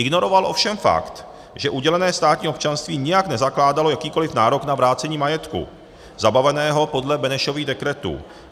Ignoroval ovšem fakt, že udělené státní občanství nijak nezakládalo jakýkoliv nárok na vrácení majetku zabaveného podle Benešových dekretů.